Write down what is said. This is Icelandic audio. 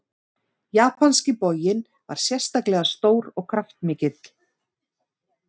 Japanski boginn var sérstaklega stór og kraftmikill.